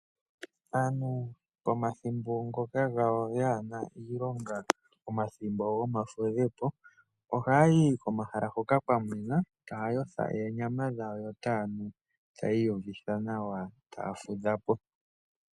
Aantu pomathimbo gomafudho oha yayi komahala hoka kwa mwena nawa , taa kala taa yotha oonyama dhawo yo taa nu iikunwa yawo opo yavulukithe omalutu nomadhilaadhilo gawo.